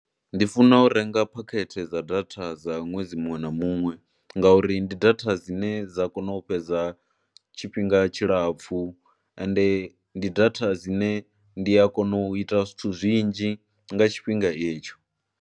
Ndi funa u renga phakhethe dza data dza ṅwedzi muṅwe na muṅwe ngauri ndi data dzine dza kona u fhedza tshifhinga tshilapfhu ende ndi data dzine ndi a kona u ita zwithu zwinzhi nga tshifhinga itsho.